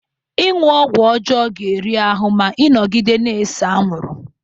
Ịṅụ ọgwụ ọjọọ ga-eri ahụ ma ị nọgide na-ese anwụrụ